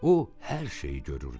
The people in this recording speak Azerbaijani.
O hər şeyi görürdü.